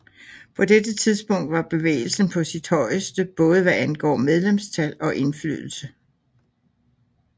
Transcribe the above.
På dette tidspunkt var bevægelsen på sit højeste både hvad angår medlemstal og indflydelse